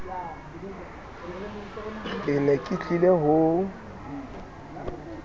ke ne ke tlile ho